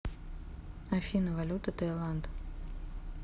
афина валюта таиланд